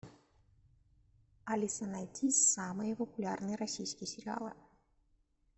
алиса найди самые популярные российские сериалы